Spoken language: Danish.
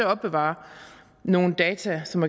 opbevare nogle data som